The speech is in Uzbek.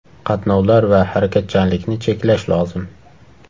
Qatnovlar va harakatchanlikni cheklash lozim.